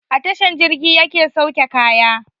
A tasha jirgi yake sauke kaya